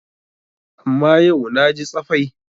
Amma yau na ji tsafai.